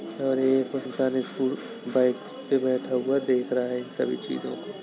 और एक इंसान स्कू बाइक पे बैठा हुआ देख रहा है इन सभी चीजों को।